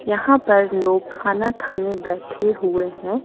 यहां पर लोग खाना खाने बैठे हुए हैं।